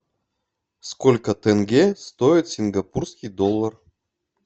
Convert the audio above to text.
сколько тенге стоит сингапурский доллар